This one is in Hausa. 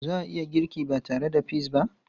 Za a iya girki ba tare da peas ba?